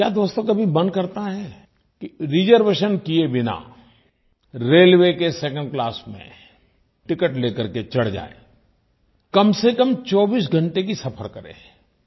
क्या दोस्तो कभी मन करता है कि रिजर्वेशन किये बिना रेलवे के सेकंड क्लास में टिकेट लेकर के चढ़ जाएँ कमसेकम 24 घंटे का सफ़र करें